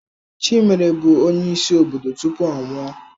Chimere bụ onyeisi obodo tupu ọ nwụọ.